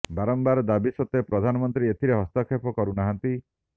ବାରମ୍ବାର ଦାବି ସତ୍ତ୍ୱେ ପ୍ରଧାନମନ୍ତ୍ରୀ ଏଥିରେ ହସ୍ତକ୍ଷେପ କରୁ ନାହାନ୍ତି